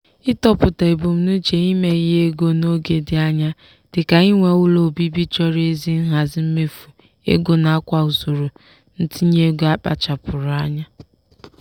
ịtọpụta ebumnuche ime ihe ego n'oge dị anya dịka inwe ụlọ obibi chọrọ ezi nhazi mmefu ego nakwa usoro ntinye ego akpachapụụrụ nya.